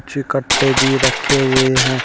पीछे कट्टे भी रखे हुए हैं।